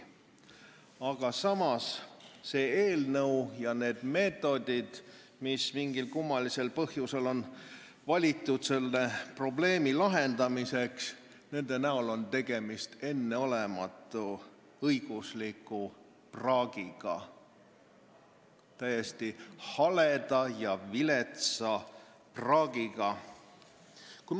Aga samas on see eelnõu ja need meetodid, mis mingil kummalisel põhjusel on valitud selle probleemi lahendamiseks, enneolematu õiguslik praak, täiesti hale ja vilets praak.